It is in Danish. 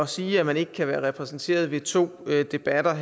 sige at man ikke kan være repræsenteret ved to debatter